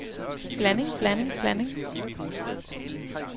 blanding blanding blanding